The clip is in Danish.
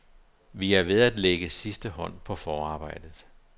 Vi er ved at lægge sidste hånd på forarbejdet.